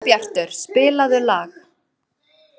Sólbjartur, spilaðu lag.